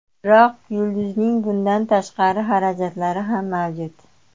Biroq yulduzning bundan tashqari xarajatlari ham mavjud.